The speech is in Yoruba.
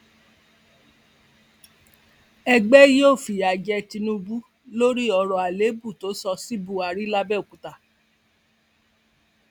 wọn níjọba oyetola fẹẹ rọ àtajọ ọṣọgbó lóyè làwọn aráàlú bá fẹhónú hàn